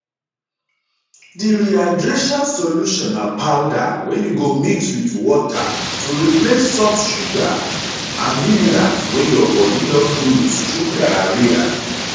di rehydration solution na powder wey you go mix wit water to replace salts sugars and minerals wey your bodi don lose through diarrhoea